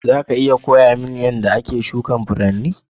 Za ka iya koya mun yadda ake shukin Furanni?